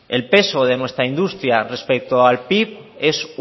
el peso de nuestra industria respecto al pib es